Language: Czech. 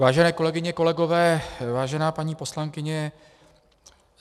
Vážené kolegyně, kolegové, vážená paní poslankyně.